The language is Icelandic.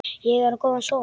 Ég á góðan son.